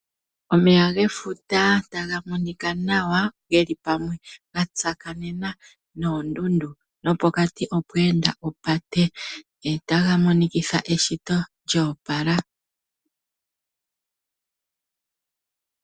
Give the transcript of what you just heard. Omeya gefuta taga monika nawa geli pamwe gatsakanena noondundu nopokati nopokati opwe enda opate, taga monikitha eshito lyoopala.